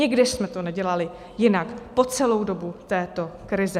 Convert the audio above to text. Nikdy jsme to nedělali jinak po celou dobu této krize.